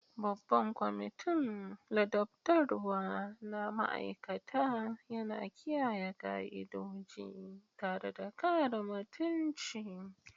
Babban kwamitin ladabtarwa na ma'aikata yana kiyaye ka'idoji tare da kare mutunci.